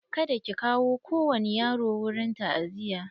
Kada ki kawo kowani yaro wurin ta'aziya!